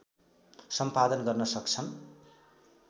सम्पादन गर्न सक्छन्